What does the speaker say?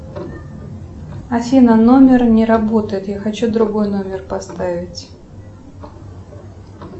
афина номер не работает я хочу другой номер поставить